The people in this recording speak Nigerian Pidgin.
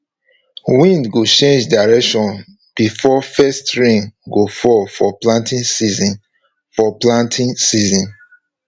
wind go change direction before first rain go fall for planting season for planting season